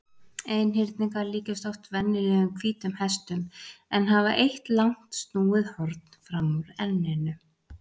Einhyrningar líkjast oft venjulegum hvítum hestum en hafa eitt langt snúið horn fram úr enninu.